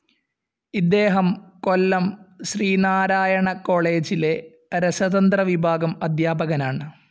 ഇദ്ദേഹം കൊല്ലം ശ്രീനാരായണ കോളേജിലെ രസതന്ത്ര വിഭാഗം അദ്ധ്യാപകനാണ്.